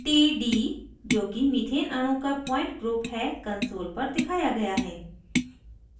td जोकि methane अणु का point group है console पर दिखाया गया है